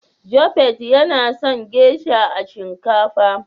" Japheth yana son " geisha" a shinkafa.